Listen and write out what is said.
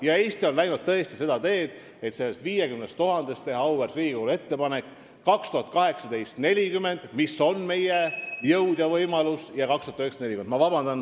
Ja Eesti on tõesti läinud seda teed, et teha selle 50 000 puhul auväärt Riigikogule ettepanek oma jõu ja võimaluste piires, st 2018 – 40 ja 2019 – 40.